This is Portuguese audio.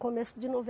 Começo de